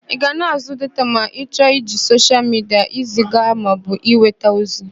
Ị ga na-àzụ́ data ma ị chọọ iji soshial midia eziga maọbụ enweta ozi.